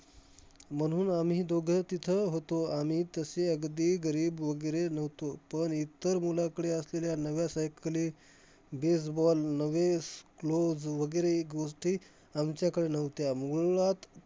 म्हणून आम्ही दोघं तिथं होतो. आम्ही तसे अगदी गरीब वगैरे नव्हतो, पण इतर मुलाकडे असलेल्या नव्या cycles, baseball नवेस gloves वगैरे आमच्याकडे नव्हत्या. मुळांत